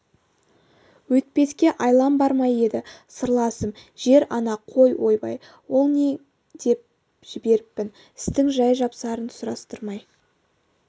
өйтпеске айлам бар ма еді сырласым жер-ана қой ойбай ол нең деп жіберіппін істің жай-жапсарын сұрастырмай